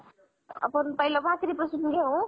आपण अ पहिलं भाकरी पासुन घेउ.